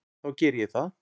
Þá geri ég það.